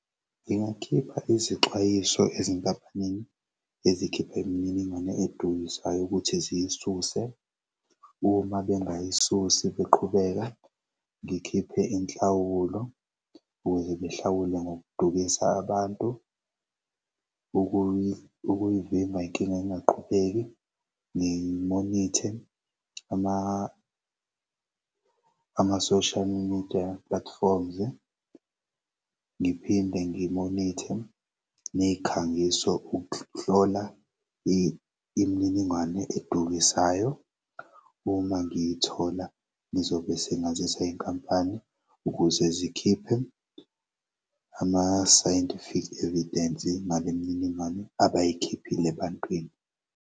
Ngingakhipha izixwayiso ezinkampanini ezikhipha imininingwane edukisayo ukuthi ziyisuse. Uma bengayisusi kuqhubeka ngikhiphe inhlawulo ukuze behlawule ngokudukisa abantu. Ukuyivimba inkinga ingaqhubeki ngimonithe ama-social media platforms, ngiphinde ngimonithe nezikhangiso ukuhlola imininingwane edukisayo uma ngiyithola ngizobe sengazisa inkampani ukuze zikhiphe ama-scientific evidence ngalemininingwane abayikhiphile ebantwini.